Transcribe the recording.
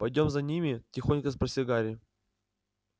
пойдём за ними тихонько спросил гарри